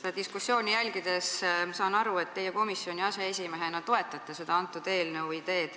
Seda diskussiooni jälgides ma saan aru, et teie komisjoni aseesimehena toetate selle eelnõu ideed.